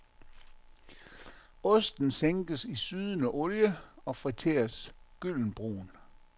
Osten sænkes i sydende olie og friteres gyldenbrun.